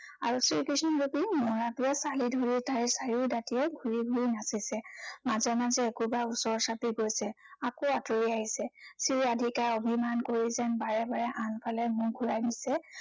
আৰু শ্ৰীকৃষ্ণ ৰূপী মৌৰাটোৱে ছালি ধৰি তাইৰ চাৰিও দাঁতিয়ে ঘূৰি ঘূৰি নাচিছে। মাজে মাজে একোবাৰ ওচৰ চাপি গৈছে, আকৌ আঁতৰি আহিছে। শ্ৰীৰাধিকাই অভিমান কৰি যেন বাৰে বাৰে আনফালে মূৰ ঘূৰাই নিছে।